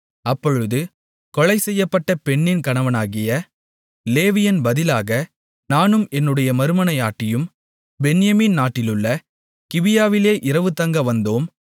அப்பொழுது கொலை செய்யப்பட்ட பெண்ணின் கணவனாகிய லேவியன் பதிலாக நானும் என்னுடைய மறுமனையாட்டியும் பென்யமீன் நாட்டிலுள்ள கிபியாவிலே இரவுதங்க வந்தோம்